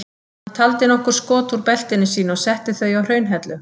Hann taldi nokkur skot úr beltinu sínu og setti þau á hraunhellu.